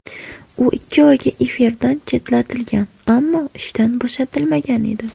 U ikki oyga efirdan chetlatilgan, ammo ishdan bo‘shatilmagan edi.